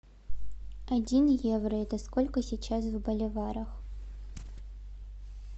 один евро это сколько сейчас в боливарах